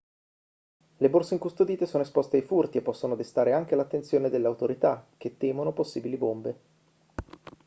le borse incustodite sono esposte a furti e possono destare anche l'attenzione delle autorità che temono possibili bombe